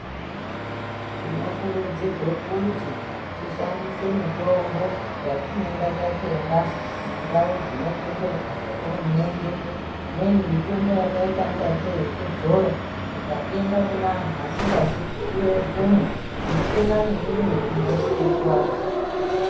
Tinokurudzirwe kuti tishandise mitombo yatinenga tatenga mundau dzinotenderwa nehurumende. Imweni mitombo yakayita ngati yekudzora. Ukatenga kunanhu vasingapiwe mvumo, unotenga neyimwe inozokukuwadza.